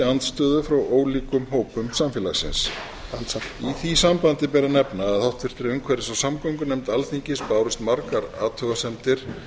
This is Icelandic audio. andstöðu frá ólíkum hópum samfélagsins í því sambandi ber að nefna að háttvirtri umhverfis og samgöngunefnd alþingis bárust margar athugasemdir